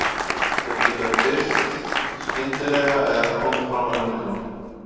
Þau geta birst skyndilega eða komið fram á löngum tíma.